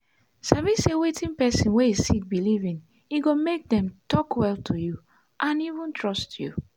sabi say wetin person wey sick believe in e go make them talk well to you and even trust you.